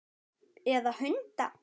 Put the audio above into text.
Eða hunda?